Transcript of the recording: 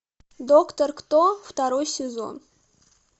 доктор кто второй сезон